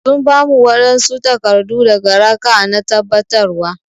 Sun ba mu wanɓsu takardu daga raka'a na tabbatarwa